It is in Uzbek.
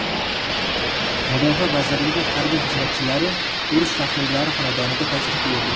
Mudofaa vazirligi harbiy xizmatchilari urush faxriylari xonadoniga tashrif buyurdi.